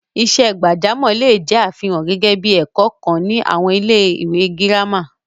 Iṣẹ́ gbàjámọ̀ le è jẹ́ àfihàn gẹ́gẹ́ bí i ẹ̀kọ́ kan ní àwọn ilé-ìwé gírámà.